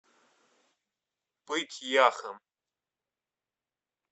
пыть яхом